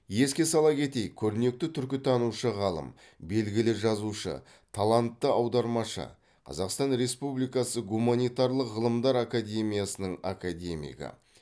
еске сала кетейік көрнекті түркітанушы ғалым белгілі жазушы талантты аудармашы қазақстан республикасы гуманитарлық ғылымдар академиясының академигі